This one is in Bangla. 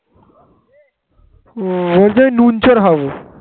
বোধ হয় নুন চোর হবে